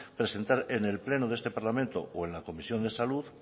presentar en el pleno de este parlamento o en la comisión de salud